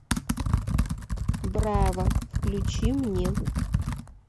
браво включи мне